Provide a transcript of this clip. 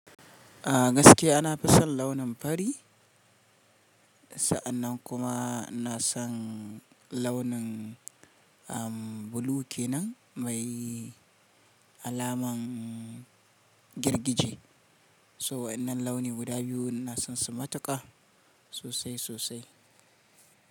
A gaskiya nafison launin fari. Sa'annan kuma inason launin blue kenan mai alaman girgije. So waɗannan launi guda biyu ina sonsu matuƙa, sosai sosai.